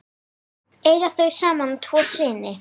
Eiga þau saman tvo syni.